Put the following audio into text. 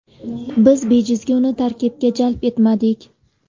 Biz bejizga uni tarkibga jalb etmadik.